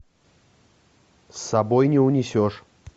с собой не унесешь